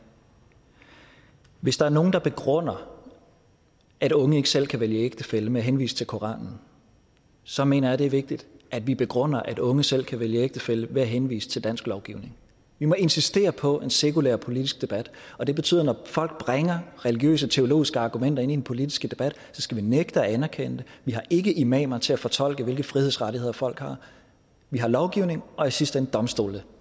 hvis der er nogen der begrunder at unge ikke selv kan vælge ægtefælle med at henvise til koranen så mener jeg at det er vigtigt at vi begrunder at unge selv kan vælge ægtefælle ved at henvise til dansk lovgivning vi må insistere på en sekulær politisk debat og det betyder når folk bringer religiøse og teologiske argumenter ind i den politiske debat skal vi nægte at anerkende det vi har ikke imamer til at fortolke hvilke frihedsrettigheder folk har vi har lovgivning og i sidste ende domstole